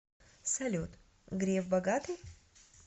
салют греф богатый